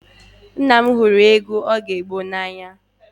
Nna m hụrụ egwu oge gboo n'anya